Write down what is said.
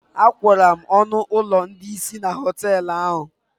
Agwụrụ m ọnụ ụlọ ndị isi na họtelu ahụ